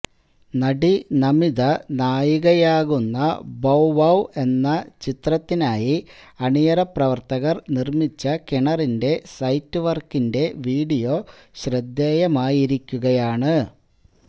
നടി നമിത നായികയാകുന്ന Bow Wow എന്ന ചിത്രത്തിനായി അണിയറ പ്രവര്ത്തകര് നിര്മിച്ച കിണറിന്റെ സെറ്റ് വര്ക്കിന്റെ വീഡിയോ ശ്രദ്ധേയമായിരിക്കുകയാണ്